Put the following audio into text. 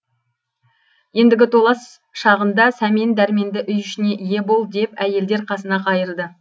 ендігі толас шағында сәмен дәрменді үй ішіне ие бол деп әйелдер қасына қайырды